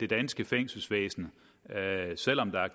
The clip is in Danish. danske fængselsvæsen selv om der er